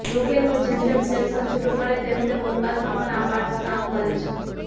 રોકેટનું જેમ જેમ સેક્શન છૂટું પડે તેમ તેમ અવકાશમાં પણ આ પાર્ટસ કામ કરે છે